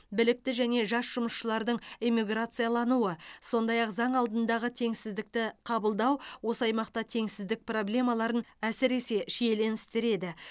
білікті және жас жұмысшылардың эмиграциялануы сондай ақ заң алдындағы теңсіздікті қабылдау осы аймақта теңсіздік проблемаларын әсіресе шиеленістіреді